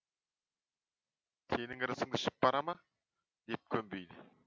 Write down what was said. сенің ырысыңды ішіп бара ма деп көнбейді